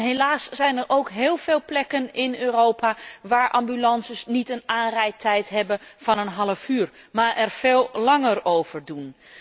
En helaas zijn er ook heel veel plekken in Europa waar ambulances niet een aanrijdtijd hebben van een half uur, maar er veel langer over doen.